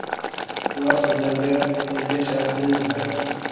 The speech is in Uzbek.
Ular sizlarga ergashadilar.